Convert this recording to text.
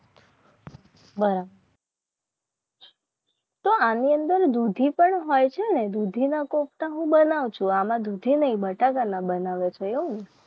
બરાબર તો આની અંદર દુધી પણ હોય છે ને દૂધીના કોફતા હું બનાવજો દૂધીના બતાવને